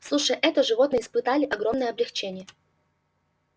слушая это животные испытали огромное облегчение